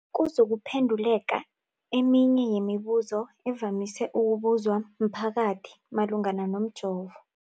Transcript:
kuzokuphe nduleka eminye yemibu zo evamise ukubuzwa mphakathi malungana nomjovo.